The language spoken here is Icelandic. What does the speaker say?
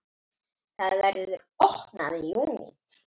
Það verður opnað í júní.